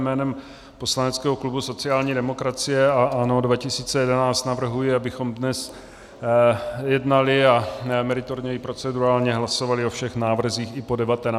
Jménem poslaneckého klubu sociální demokracie a ANO 2011 navrhuji, abychom dnes jednali a meritorně i procedurálně hlasovali o všech návrzích i po 19. i po 21. hodině.